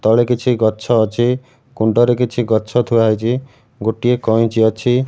ତଳେ କିଛି ଗଛ ଅଛି କୁଣ୍ଡରେ କିଛି ଗଛ ଥୁଆ ହେଇଚି ଗୋଟିଏ କଇଁଚି ଅଛି।